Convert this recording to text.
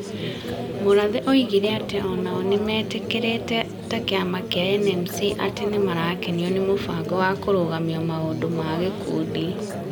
Murathe oigire atĩ o nao nĩ meetĩkĩrĩĩte ta kĩama kĩa NMC atĩ nĩ marakenio nĩ mũbango wa kũrũgamia maũndũ ma gĩkundi,